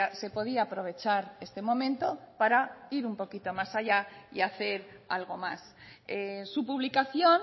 se podía aprovechar este momento para ir un poquito más allá y hacer algo más su publicación